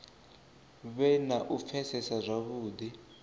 vhe na u pfesesa zwavhudi